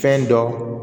Fɛn dɔ